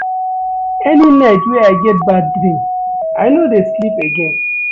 Any night wey I get bad dream, I no dey sleep again.